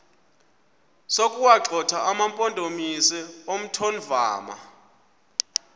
sokuwagxotha amampondomise omthonvama